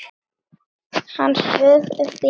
Hann saug upp í nefið.